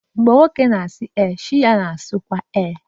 Mgbe nwoke sị ee, chi ya na-asịkwa ee